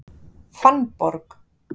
Fannborg